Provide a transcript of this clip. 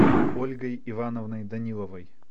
ольгой ивановной даниловой